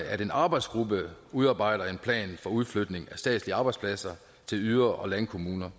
at en arbejdsgruppe udarbejder en plan for udflytning af statslige arbejdspladser til yder og landkommunerne